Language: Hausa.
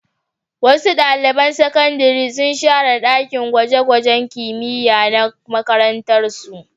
Wasu ɗalibai na sakandare sun share ɗakin gwaje-gwajen kimiyya na makarantarsu.